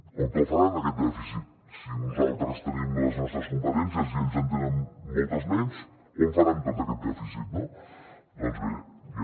on el faran aquest dèficit si nosaltres tenim les nostres competències i ells en tenen moltes menys on faran tot aquest dèficit no doncs bé ja